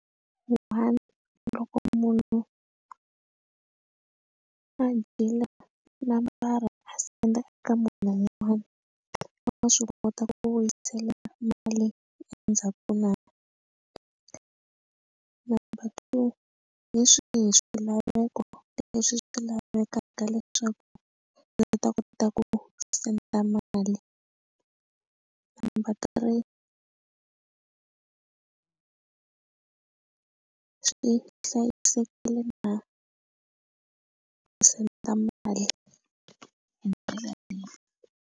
loko munhu a dyile na mara a senda eka munhu un'wanyana wa swi kota ku vuyisela mali endzhaku na number two hi swihi swilaveko leswi swi lavekaka leswaku ndzi ta kota ku senda mali number three swi hlayisekile na ku senda mali hi ndlela leyi.